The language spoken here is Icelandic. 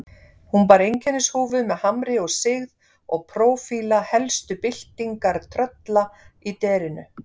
Hún bar einkennishúfu með hamri og sigð og prófíla helstu byltingartrölla í derinu.